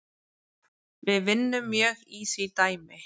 Við vinnum mjög í því dæmi